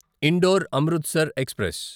indoor Amritsar express